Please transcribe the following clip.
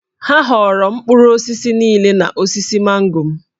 Ha ghọọrọ mkpụrụ osisi niile n’osisi mango m.